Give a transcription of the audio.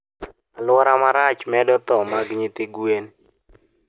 Aluora marach medo thoo mag nyithi gwen